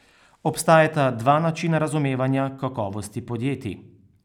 Obstajata dva načina razumevanja kakovosti podjetij.